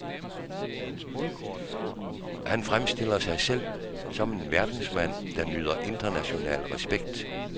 Han fremstiller sig selv som en verdensmand, der nyder international respekt.